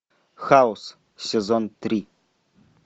хаус сезон три